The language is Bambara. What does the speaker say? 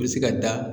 U bɛ se ka da